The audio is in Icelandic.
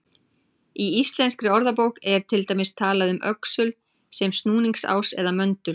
Í Íslenskri orðabók er til dæmis talað um öxul sem snúningsás eða möndul.